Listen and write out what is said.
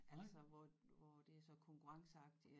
Altså hvor hvor det er så konkurrenceagtig